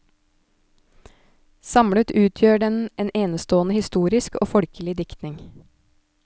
Samlet utgjør den en enestående historisk og folkelig diktning.